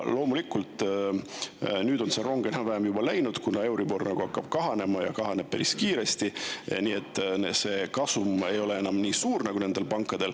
Loomulikult on nüüd see rong juba enam-vähem läinud, kuna euribor hakkab kahanema, ja kahaneb päris kiiresti, nii et see kasum pankadel ei ole enam nii suur.